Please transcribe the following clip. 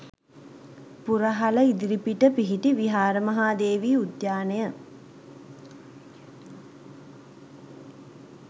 පුරහල ඉදිරිපිට පිහිටි විහාර මහා දේවී උද්‍යානය